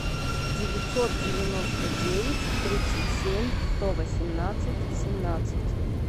девятьсот девяносто девять тридцать семь сто восемнадцать семнадцать